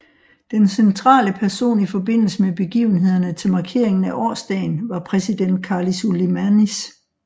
Den centrale person i forbindelse med begivenhederne til markeringen af årsdagen var præsident Karlis Ulmanis